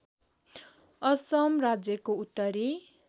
असम राज्यको उत्तरी